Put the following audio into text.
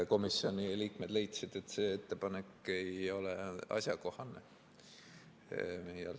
Komisjoni liikmed leidsid, et see ettepanek ei ole asjakohane.